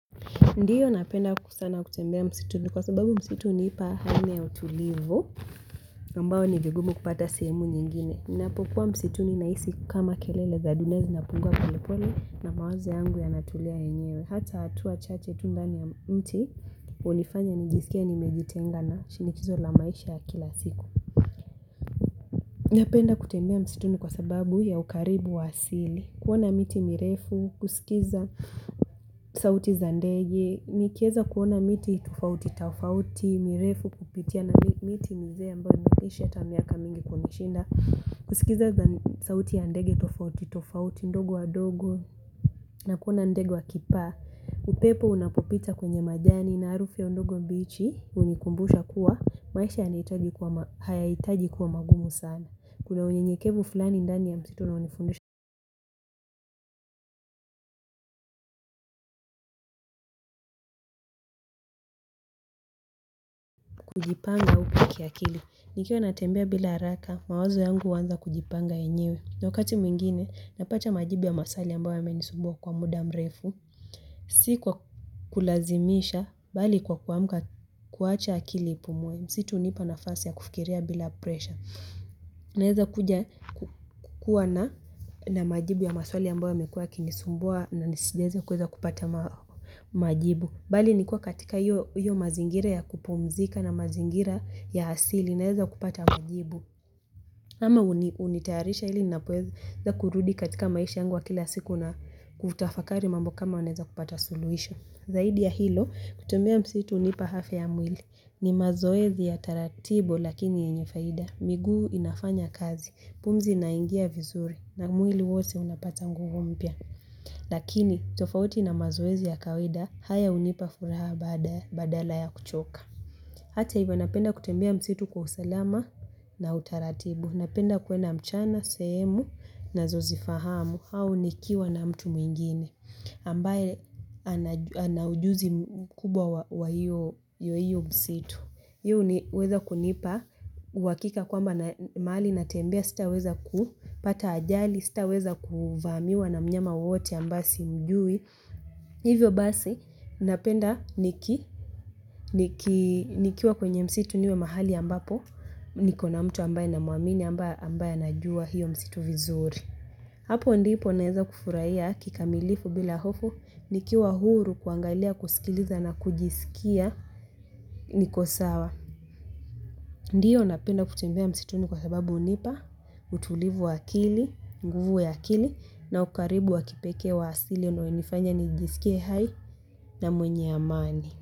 Ndiyo napenda sana kutembea msituni kwa sababu msituni hunipa hali ya utulivu ambayo ni vigumu kupata sehemu nyingine. Ninapokuwa msituni nahisi kama kelele za dunia zinapungua pole pole na mawaze yangu yanatulia yenyewe. Hata hatua chache tu ndani ya mti, ulifanya nijisikie nimejitenga na shinikizo la maisha ya kila siku. Napenda kutembea msituni kwa sababu ya ukaribu wasili. Kuona miti mirefu, kusikiza sauti za ndege, nikiweza kuona miti tofauti tafauti, mirefu kupitia na miti mizee ambayo imeisha hata miaka mingi kunishinda, kusikiza sauti ya ndege tofauti tofauti, ndogo wa dogo. Na kuona ndege wakipaa. Upepo unapopita kwenye majani na arufi ya ndogo mbichi hunikumbusha kuwa, maisha hayahitaji kuwa magumu sana. Kuna unyenyekevu fulani ndani ya msitu na unifundusha kujipanga upya ki akili. Nikiwa natembea bila haraka, mawazo yangu huanza kujipanga yenyewe. Na wakati mwingine, napata majibu ya maswali ambayo yamenisumbua kwa muda mrefu. Si kwa kulazimisha, bali kwa kuammka kuacha akili ipumwe. Msitu hunipa nafasi ya kufikiria bila presha. Naeza kuja kuwa na na majibu ya maswali ambayo yamenisumbua na nisijaweza kuweza kupata majibu. Bali nikiwa katika hiyo mazingira ya kupumzika na mazingira ya asili naeza kupata majibu. Ama unitayarisha ili ninapoweza kurudi katika maisha yangu ya kila siku na kutafakari mambo kama naweza kupata suluhuhisho. Zaidi ya hilo, kutumia msitu hunipa afya ya mwili. Ni mazoezi ya taratibu lakini yenye faida. Miguu inafanya kazi, pumzi inaingia vizuri na mwili wote unapata nguvu mpya. Lakini tofauti na mazoezi ya kawaida haya hunipa furaha badala ya kuchoka. Hata hivyo napenda kutembea msitu kwa usalama na utaratibu. Napenda kwenda mchana, sehemu nazo zifahamu au nikiwa na mtu mwingine ambaye anajua ana ujuzi mkubwa wa hiyo msitu. Hio ni huweza kunipa, uhakika kwamba na mahali natembea, sitaweza kupata ajali, sitaweza kuvamjwa na mnyama wowote ambaye simjui. Hivyo basi, napenda niki nikiwa kwenye msitu niwe mahali ambapo, nikona mtu ambaye namuamini ambaye anajua hiyo msitu vizuri. Hapo ndipo naeza kufuraia kikamilifu bila hofu, nikiwa huru kuangalia kusikiliza na kujisikia niko sawa. Ndiyo unapenda kutembea msituni kwa sababu hunipa, utulivu wa akili, nguvu ya akili na ukaribu wa kipeke wa asili unaonifanya nijisikie hai na mwenye amani.